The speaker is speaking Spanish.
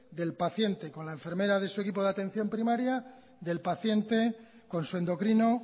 del paciente con la enfermera de su equipo de atención primaria del paciente con su endocrino